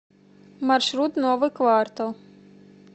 маршрут новый квартал